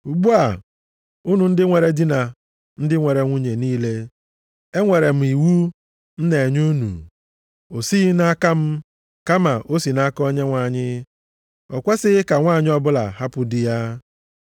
Ugbu a, unu ndị nwere di na ndị nwere nwunye niile, enwere m iwu m na-enye unu. (O sighị nʼaka m, kama o si nʼaka Onyenwe anyị): O kwesighị ka nwanyị ọbụla hapụ di ya.